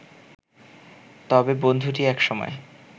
তবে বন্ধুটি এক সময়